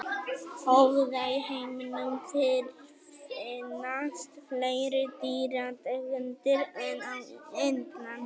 Óvíða í heiminum fyrirfinnast fleiri dýrategundir en á Indlandi.